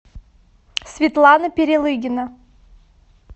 светлана перелыгина